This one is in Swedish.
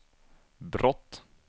brott